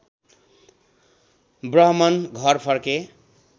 ब्राहमण घर फर्के